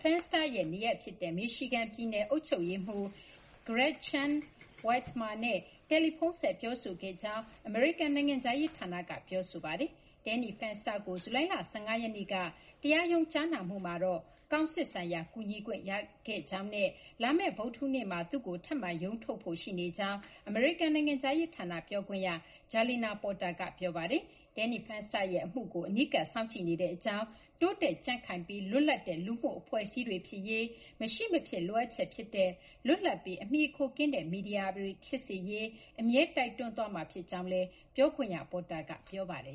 Fenster ရဲ့ နေရပ် ဖြစ်တဲ့ Michigan ပြည်နယ်က အုပ်ချုပ်ရေးမှူး Gretchen Whitmer နဲ့ တယ်လီဖုန်းဆက် ပြောဆိုခဲ့ကြောင်း အမေရိကန် နိုင်ငံခြားရေး ဌာနက ပြောဆိုထားပါတယ်။ Danny Fenster ကို ဇူလိုင်လ ၁၅ ရက်နေ့က တရားရုံး ကြားနာမှုမှာတော့ ကောင်စစ်ဆိုင်ရာ ကူညီခွင့် ရခဲ့ကြောင်းနဲ့ လာမယ့် ဗုဒ္ဓဟူးနေ့မှာ သူ့ကို ထပ်မံရုံးထုတ်ဖို့ ရှိနေကြောင်း အမေရိကန် နိုင်ငံခြားရေး ဌာန ပြောခွင့်ရ Jalina Porter က ပြောပါတယ်။ Danny Fenster ရဲ့ အမှုကို အနီးကပ် စောင့်ကြည့်နေကြောင်း၊ တိုးတက် ကြံ့ခိုင်ပြီး လွတ်လပ်တဲ့ လူမှုအဖွဲ့အစည်းတွေ ဖြစ်ရေး မရှိမဖြစ် လိုအပ်ချက် ဖြစ်တဲ့ လွတ်လပ်ပြီး အမှီအခိုကင်းတဲ့ မီဒီယာ အဖြစ် အမြဲတမ်း တိုက်တွန်းသွားမှာ ဖြစ်ကြောင်းလည်းက ပြောခွင့်ရ Proter က ပြောပါတယ်